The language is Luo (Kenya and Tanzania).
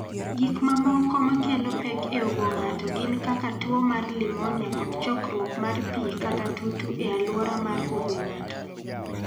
Gik mamoko ma kelo pek e obo ng�ato gin kaka tuo mar limonia kod chokruok mar pi kata tutu e alwora mar obo ng�ato.